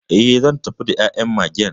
E, zan tafi da ya'yan Magen '..